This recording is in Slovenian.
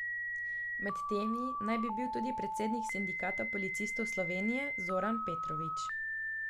Med temi naj bi bil tudi predsednik Sindikata policistov Slovenije Zoran Petrovič.